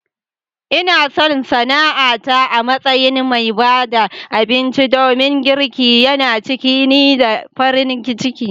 Ina son sana'ata a matsayin mai ba da abinci domin girki yana cika ni da farin ciki.